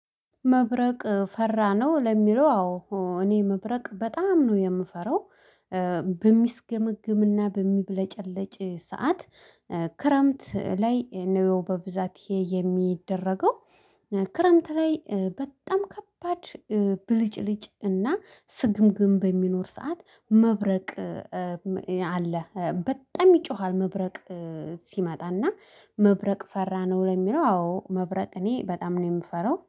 መብረቅ ፈራ ነው ለሚለው አዎ እኔ መብረቅ በጣም ነው የምፈራው። በሚስገመግምና በሚብለጨለጭ ሰዓት ክረምት ላይ ነው በብዛት ይሄ የሚደረገው። ክረምት ላይ በጣም ከባድ ብልጭልጭ እና ስግምግም በሚኖር ሰዓት መብረቅ አለ። በጣም ይጮሃል። መብረቅ ሲመጣና መብረቅ ፈራ ነው ለሚለው አዎ መብረቅ እኔ በጣም ነው የምፈራው